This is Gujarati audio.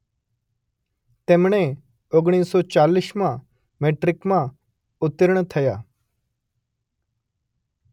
તેમણે ઓગણીસ સો ચાલીસમાં મેટ્રિકમાં ઉત્તીર્ણ થયા.